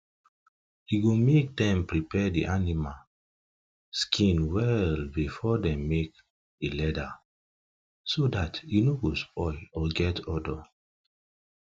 e go make dem prepare the animal skin well before dem make the leather so dat e no go spoil or get odour